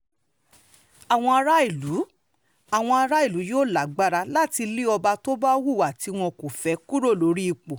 àwọn aráàlú àwọn aráàlú yóò lágbára láti lé ọba tó bá hùwà tí wọn kò fẹ́ kúrò lórí ipò